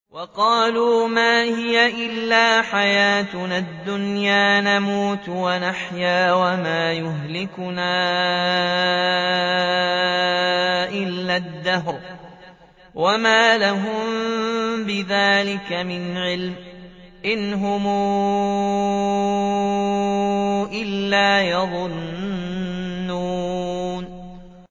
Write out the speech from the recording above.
وَقَالُوا مَا هِيَ إِلَّا حَيَاتُنَا الدُّنْيَا نَمُوتُ وَنَحْيَا وَمَا يُهْلِكُنَا إِلَّا الدَّهْرُ ۚ وَمَا لَهُم بِذَٰلِكَ مِنْ عِلْمٍ ۖ إِنْ هُمْ إِلَّا يَظُنُّونَ